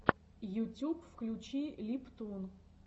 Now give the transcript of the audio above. ютюб включи липтун